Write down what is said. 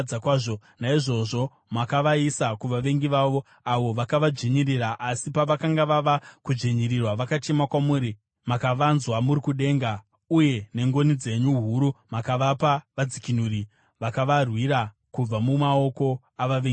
Naizvozvo makavaisa kuvavengi vavo, avo vakavadzvinyirira. Asi pavakanga vava kudzvinyirirwa vakachema kwamuri. Makavanzwa muri kudenga, uye nengoni dzenyu huru makavapa vadzikinuri, vakavarwira kubva mumaoko avavengi vavo.